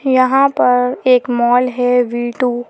यहां पर एक मॉल है वी तु ।